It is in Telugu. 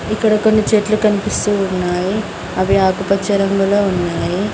ఇక్కడ కొన్ని చెట్లు కనిపిస్తూ ఉన్నాయి అవి ఆకుపచ్చ రంగులో ఉన్నాయి.